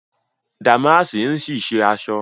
Dàmáàsì ń ṣì ṣe aṣọ